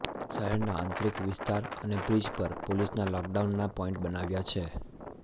શહેરના આંતરિક વિસ્તાર અને બ્રિજ પર પોલીસના લોકડાઉનના પોઇન્ટ બનાવ્યા છે